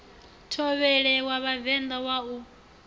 thovhele wa vhavenḓa wa u